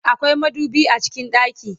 akwai madubi a cikin ɗaki